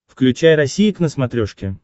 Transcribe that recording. включай россия к на смотрешке